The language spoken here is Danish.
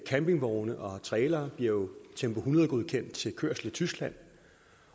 campingvogne og trailere bliver jo tempo hundrede godkendt til kørsel i tyskland